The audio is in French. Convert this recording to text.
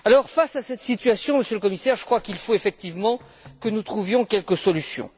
Face à cette situation, Monsieur le Commissaire, je crois qu'il faut effectivement que nous trouvions quelques solutions.